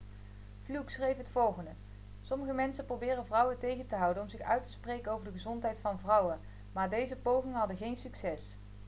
fluke schreef het volgende sommige mensen probeerden vrouwen tegen te houden om zich uit te spreken over de gezondheid van vrouwen maar deze pogingen hadden geen succes